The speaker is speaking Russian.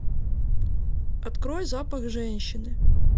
открой запах женщины